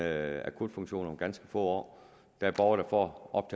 akutfunktion om ganske få år der er borgere der får op